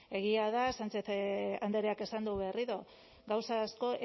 egia da sánchez andreak esan du berriro gauza asko